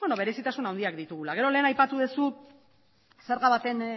berezitasun handiak ditugula gero lehen aipatu duzu zerga baten